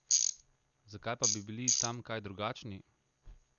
Zakaj pa bi bili tam kaj drugačni?